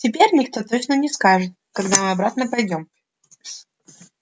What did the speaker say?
теперь никто точно не скажет когда мы обратно пойдём